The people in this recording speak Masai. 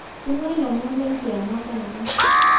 Tungai lomon lenkiyama taata